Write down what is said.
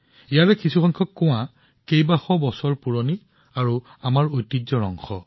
ইয়াৰে বহুতো কুঁৱা শ শ বছৰ পুৰণি আৰু আমাৰ ঐতিহ্যৰ অংশ